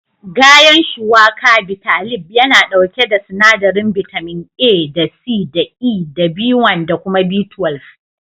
Gayan Shuwaka/Bitalib yana ɗauke da sinadarin bitamin A da C da E da B1 da kuma B12.